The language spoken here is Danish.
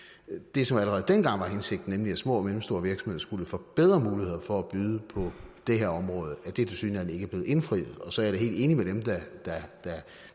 det som allerede dengang var hensigten nemlig at små og mellemstore virksomheder skulle få bedre muligheder for at byde på det her område tilsyneladende ikke er blevet indfriet og så er jeg da helt enig med dem